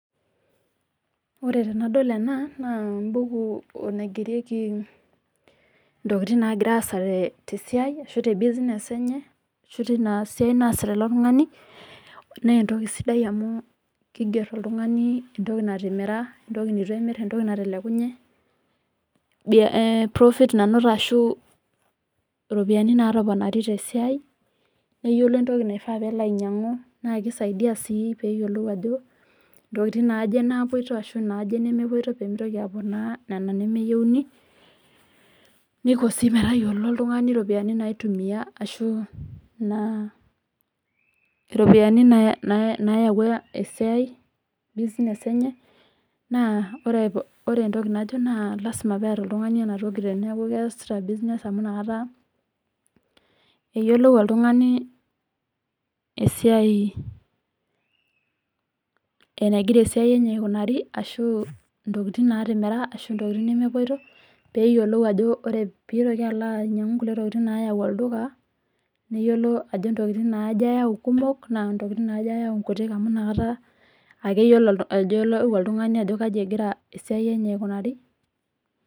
Ore tenadol ena naa embuku naigerieki intokitin nagiraasa tee tesiai ashu tebusiness enye ashu tinasiai naasita ilo tung'ani. Neentoki sidai amu keigerr oltung'ani entoki natimira, entoki neitu emirr, entoki natelekunye, biah eeh profit nanoto ashuu ropiani natoponari tesiai neyiolo entoki naifaa peelo ainyang'u naakeisaidia sii peeyiolou ajo intokitin naaje napuoito ashu naaje nemepuoito peemeitoki aponaa nena nemeyouni. Neiko sii metayiolo oltung'ani ropiani naitumia ashu naa iropiani naah nayauwa esiai business enye naa ore entoki najo naa lasima peata oltung'ani enatoki teneaku keasita  business amu inakata eyiolou oltung'ani esiai enegira esiai enye aikunari ashu intokitin naatimira ashu intokitin nemewuoito peeyiolou ajo ore peitoki alo ainyang'u nkulie tokitin naayau olduka neyiolo ajo ntokitin naaje eyau kumok naa ntokitin naaje eyau nkutik amu inakata akeyiolo ajo elau oltung'ani ajo kaji egira esiai enye aikunari.